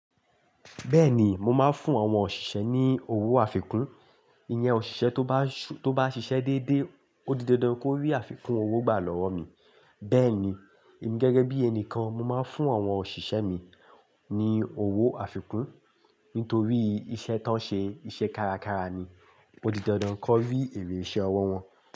Bẹ́ẹ̀ni, mo máa ń fún àwọn òṣìṣẹ́ ní owó àfikún. Ìyẹn òṣìṣẹ́ tó bá ṣú, tó bá ṣiṣẹ́ déédéé, ó di dandan kó rí àfikún owó gbà lọ́wọ́ mi. Bẹ́ẹ̀ ni, èmi gẹ́gẹ́ bí ẹni kan, mo máa ń fún àwọn òṣìṣẹ́ mi ní owó àfikún nítorí iṣẹ́ tán ṣe iṣẹ́ kárakára ni. Ó di dandan kó rí èrè iṣẹ́ ọwọ́ wọn.